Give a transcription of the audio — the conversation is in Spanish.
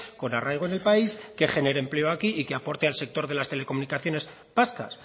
con arraigo en el país que genere empleo aquí y que aporte al sector de las telecomunicaciones vascas